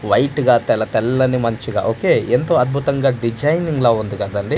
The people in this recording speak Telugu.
వైట్ గా తెల్లతెల్లని మంచుగా ఒకే ఎంతో అద్భుతంగా డిజైనింగ్ లా ఉంది కదండి.